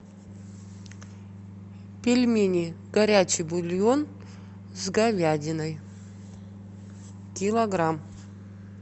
пельмени горячий бульон с говядиной килограмм